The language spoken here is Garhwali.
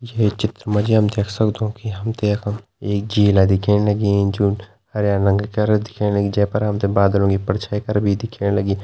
ये चित्र माजी हमते हमते यखम एक झीला दिख्येण लगीं जो हरयां रंगा तरह दिख्येण लगीं जैपर हमते बादलो की परछाई कर भी दिख्याण लगीं।